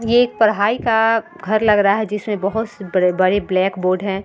ये एक पढ़ाई का घर लग रहा है जिसमे बहुत से बड़े बड़े ब्लैकबर्ड हैं।